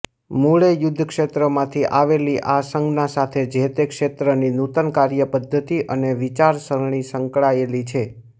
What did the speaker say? મૂળે યુદ્ધ ક્ષેત્રમાંથી આવેલી આ સંજ્ઞા સાથે જેતે ક્ષેત્રની નૂતન કાર્યપદ્ધતિ અને વિચારસરણી સંકળાયેલી છે